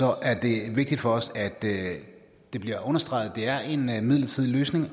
er det vigtigt for os at det bliver understreget at det er en en midlertidig løsning